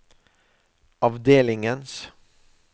avdelingens